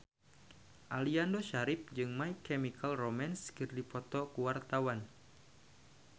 Aliando Syarif jeung My Chemical Romance keur dipoto ku wartawan